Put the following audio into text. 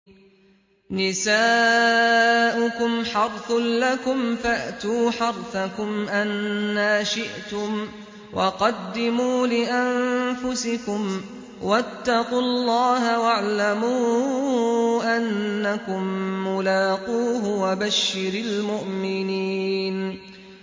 نِسَاؤُكُمْ حَرْثٌ لَّكُمْ فَأْتُوا حَرْثَكُمْ أَنَّىٰ شِئْتُمْ ۖ وَقَدِّمُوا لِأَنفُسِكُمْ ۚ وَاتَّقُوا اللَّهَ وَاعْلَمُوا أَنَّكُم مُّلَاقُوهُ ۗ وَبَشِّرِ الْمُؤْمِنِينَ